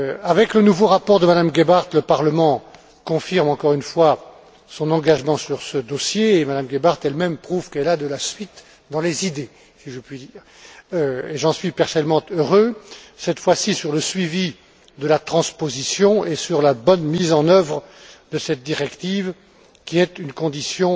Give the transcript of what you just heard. Avec le nouveau rapport de Mme Gebhardt, le Parlement confirme encore une fois son engagement sur ce dossier, et Mme Gebhardt elle même prouve qu'elle a de la suite dans les idées, si je puis dire. J'en suis personnellement heureux cette fois ci sur le suivi de la transposition et sur la bonne mise en œuvre de cette directive, qui est une condition